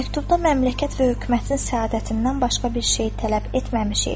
Məktubda məmləkət və hökumətin səadətindən başqa bir şey tələb etməmişik.